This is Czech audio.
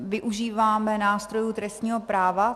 Využíváme nástrojů trestního práva.